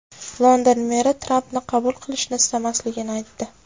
London meri Trampni qabul qilishni istamasligini aytdi.